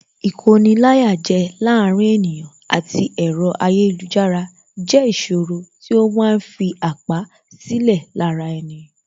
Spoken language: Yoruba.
Ìkoni-láyàjẹ láàárín ènìyàn àti ẹ̀rọ ayélujára jẹ́ ìṣòro tí ó ma ń fi àpá sílẹ̀ lára ẹni